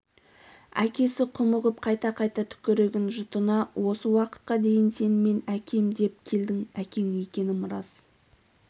әкесі құмығып қайта-қайта түкірігін жұтынды осы уақытқа дейін сен мен әкем деп келдің әкең екенім рас